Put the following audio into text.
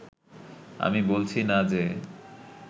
আমি বলছি না যে